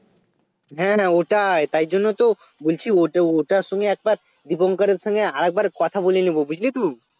হ্যাঁ হ্যাঁ ওটাই তাই জন্যই তো বলছি ওটা~ ওটার সঙ্গে একবার Dipankar এর সঙ্গে আর একবার কথা বলে নেবো বুঝলি তো